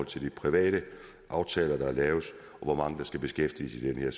til de private aftaler der er lavet hvor mange der skal beskæftiges i det her